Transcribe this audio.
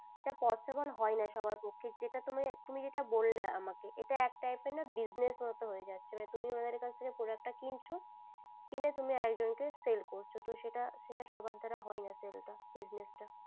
এটা possible হয়না সব্বার পক্ষে যেটা তুমি তুমি যেটা বললে আমাকে ইটা এক type এর না business মতো হয় যাচ্ছে মানে তুমি ওদের কাছে থেকে product টা কিনছো কিনে তুমি আর একজন কে sell করছো সেটা সেটা সব্বার দ্বারা হয়ে না।